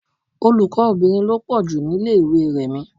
Olùkọ́ obìnrin lọ pọ́ ju ni ilé ìwé Rẹ̀mí.